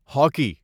hockey